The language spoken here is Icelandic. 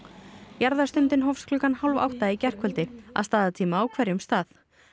jarðarstundin hófst klukkan hálf átta í gærkvöld að staðartíma á hverjum stað